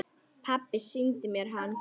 Pabbi sýndi mér hann.